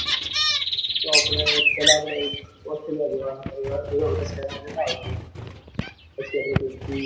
તો આપણે ચલો australia જોવા એવા બધા શહેરોમાં જતા આવીશું પચિ આપડે .